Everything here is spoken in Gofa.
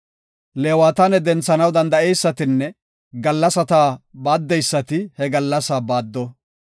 Leewataane denthanaw danda7eysatinne gallasata baaddeysati he gallasaa baaddo.